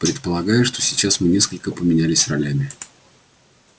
предполагаю что сейчас мы несколько поменялись ролями